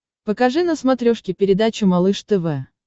покажи на смотрешке передачу малыш тв